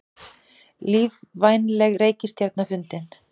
Lífvænleg reikistjarna fundin